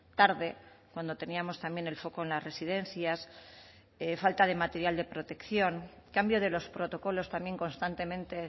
tarde cuando teníamos también el foco en las residencias falta de material de protección cambio de los protocolos también constantemente